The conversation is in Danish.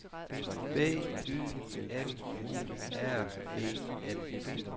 B Y M U R E N